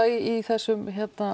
í þessum